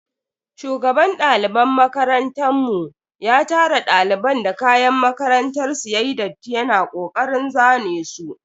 Shugaban daliban makarantan mu ya tara daliban da kayan makarantar su yayi datti yana kokarin zane su.